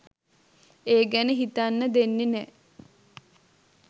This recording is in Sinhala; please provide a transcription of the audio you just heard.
ඒ ගැන හිතන්න දෙන්නෙ නෑ.